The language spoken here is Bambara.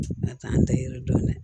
A t'an dege yiri dɔn dɛ